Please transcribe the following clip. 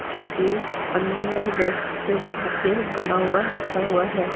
जो कि पंद्रह जैसे बुके बना हुआ रखा हुआ है ।